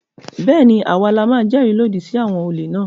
Bẹ́ẹ̀ ni, à wa la máa jẹ́rìí lòdì sí àwọn olè náà.